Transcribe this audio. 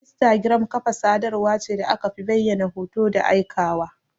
Instagram Ƙafa sadarwa ce da akafi bayyana hoto da aika wa.